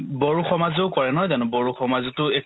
বড়ো সমাজেও কৰে নহয় জানো বড়ো সমাজেতো